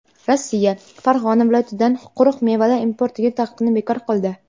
Rossiya Farg‘ona viloyatidan quruq mevalar importiga taqiqni bekor qildi.